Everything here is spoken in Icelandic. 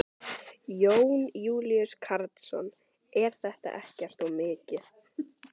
Jón Júlíus Karlsson: Er þetta ekkert of mikið?